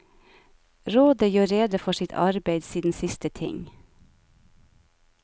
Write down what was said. Rådet gjør rede for sitt arbeid siden siste ting.